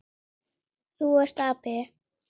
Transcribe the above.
Þú ert api.